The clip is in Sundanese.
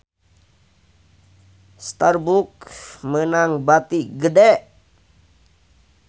Starbucks meunang bati gede